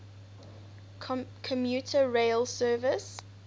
commuter rail service